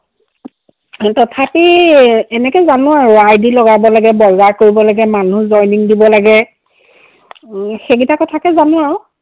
তথাপি এনেকে জানো আৰু id লগাব লাগে, বজাৰ কৰিব লাগে, মানুহ joining দিব লাগে। উম সেইকেইটা কথাকে জানো আৰু।